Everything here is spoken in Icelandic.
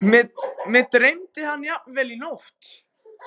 Mig dreymdi hann jafnvel í nótt.